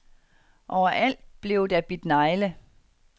Overalt blev der bidt negle.